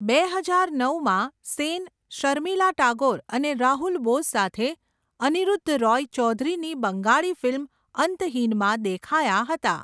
બે હજાર નવમાં, સેન શર્મિલા ટાગોર અને રાહુલ બોઝ સાથે અનિરુદ્ધ રોય ચૌધરીની બંગાળી ફિલ્મ અંતહીનમાં દેખાયા હતા.